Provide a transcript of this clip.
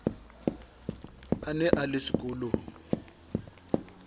a ne a le sekolong